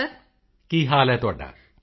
ਮੋਦੀ ਜੀ ਕੀ ਹਾਲ ਹੈ ਤੁਹਾਡਾ